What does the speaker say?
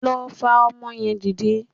Lọ fa ọmọ yẹn dìde